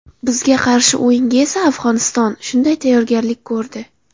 Bizga qarshi o‘yinga esa Afg‘oniston shunday tayyorgarlik ko‘rdi”.